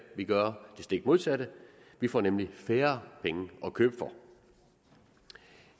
vil gøre det stik modsatte vi får nemlig færre penge at købe for